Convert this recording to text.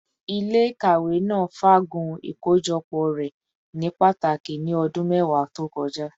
Ile-ikawe naa faagun ikojọpọ rẹ ni pataki ni ọdun mẹwa to kọja